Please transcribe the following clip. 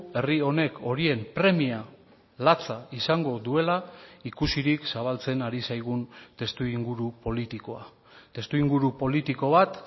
herri honek horien premia latza izango duela ikusirik zabaltzen ari zaigun testuinguru politikoa testuinguru politiko bat